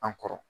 An kɔrɔ